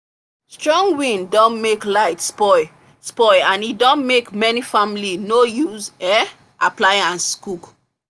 strong wind don make light spoil spoil and e don make many family no use um appliances cook